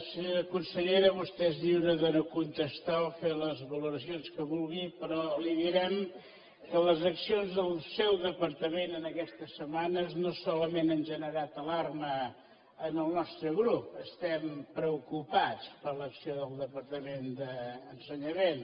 senyora consellera vostè és lliure de no contestar o fer les valoracions que vulgui però li direm que les accions del seu departament en aquestes setmanes no solament han generat alarma en el nostre grup estem preocupats per l’acció del departament d’ensenyament